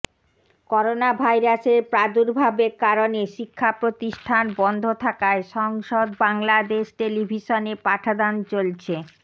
করোনাভাইরাসের প্রাদুর্ভবের কারণে শিক্ষাপ্রতিষ্ঠান বন্ধ থাকায় সংসদ বাংলাদেশ টেলিভিশনে পাঠদান চলছে